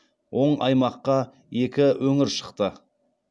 оң аймаққа екі өңір шықты